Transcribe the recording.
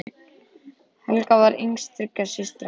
Helga var yngst þriggja systra.